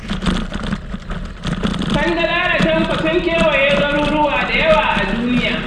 Kandala da Tanko sun kewaya garuruwa da yawa a duniya.